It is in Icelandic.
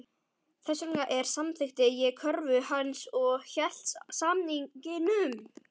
Þess vegna samþykkti ég kröfu hans og hélt samningnum.